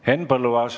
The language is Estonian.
Henn Põlluaas.